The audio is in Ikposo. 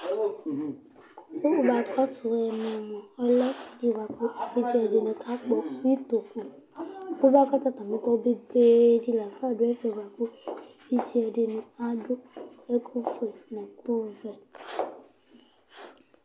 Kʋ akɔsu ɛmɛ mʋa ɔlɛ ɛfʋɛdi bʋakʋ alʋɛdìní kakpɔ ʋtoku Kʋ akɔsu atami ɛtu, ɛkutɛ di la du ɛfɛ bʋakʋ ɔsi dìní adu ɛku fʋe nʋ ɛku vɛ